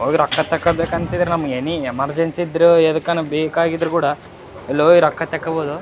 ಅವಿ ರೊಕ್ಕ ತಕೋಬೇಕ ಅನ್ಸಿದ್ರೆ ನಮ್ಗ್ ಎನಿ ಎಮರ್ಜೆನ್ಸಿ ಇದ್ರೂ ಎದಕ್ಕನ ಬೇಕಾಗಿದ್ರು ಕೂಡ ಅಲ್ಲೋಗಿ ರೊಕ್ಕ ತಕ್ಕೊಬೊದು.